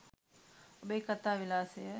ඔබේ කතා විලාශය